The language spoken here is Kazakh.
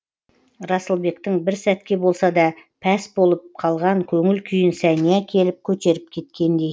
расылбектің бір сәтке болса да пәс болып қалған көңіл күйін сәния келіп көтеріп кеткендей